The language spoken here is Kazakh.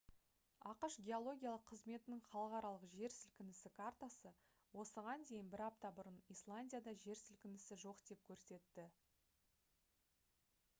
ақш геологиялық қызметінің халықаралық жер сілкінісі картасы осыған дейін бір апта бұрын исландияда жер сілкінісі жоқ деп көрсетті